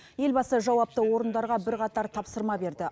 елбасы жауапты орындарға бірқатар тапсырма берді